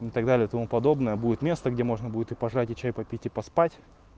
ну так далее и тому подобное будет место где можно будет и пожать и чай попить и поспать